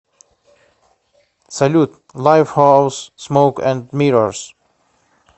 салют лайфхаус смоук энд миррорс